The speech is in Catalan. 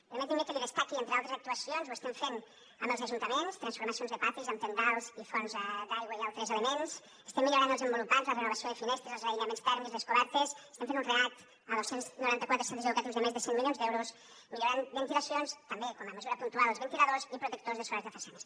permetin me que destaqui entre altres actuacions ho estem fent amb els ajuntaments transformacions de patis amb tendals i fonts d’aigua i altres elements estem millorant els envolupants la renovació de finestres els aïllaments tèrmics les cobertes estem fent un react a dos cents i noranta quatre centres educatius de més de cent milions d’euros millorant ventilacions també com a mesura puntual els ventiladors i protectors solars de façanes